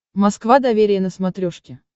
москва доверие на смотрешке